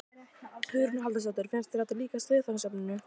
Hugrún Halldórsdóttir: Finnst þér þetta líkjast viðfangsefninu?